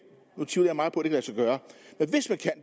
gøre med